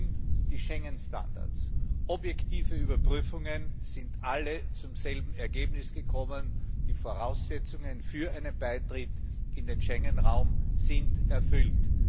Sie erfüllen die Schengen Standards. Objektive Überprüfungen sind alle zum selben Ergebnis gekommen Die Voraussetzungen für einen Beitritt zum Schengen Raum sind erfüllt.